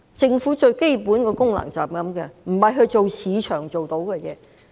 政府最基本的功能就是這樣，不是做市場做到的事情。